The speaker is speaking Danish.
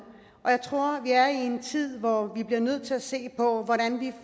og jeg tror vi er i en tid hvor vi bliver nødt til at se på hvordan vi